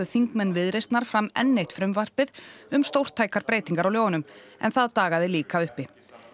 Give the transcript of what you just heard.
þingmenn Viðreisnar fram enn eitt frumvarpið um stórtækar breytingar á lögunum en það dagaði líka uppi